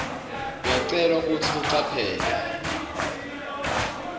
uyacelwa kutsi ucaphele